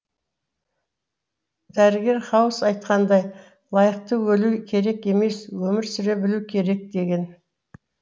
дәрігер хаус айтқандай лайықты өлу керек емес өмір сүре білу керек деген